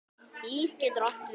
LÍF getur átt við